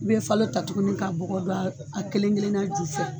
I be falo ta tuguni ka bugo don a kelen kelenna ju fɛ.